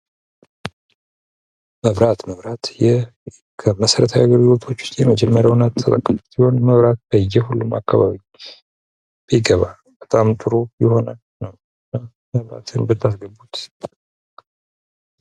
መብራት መብራት ይህ ከመሰረታዊ የአገልግሎቶች የመጀመሪያውና ተጠቃሽው ሲሆን በሁሉም አካባቢ ቢገባ በጣም ጥሩ ይሆናል።